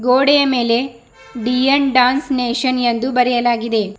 ಗೋಡೆಯ ಮೇಲೆ D N dance nation ಎಂದು ಬರೆಯಲಾಗಿದೆ.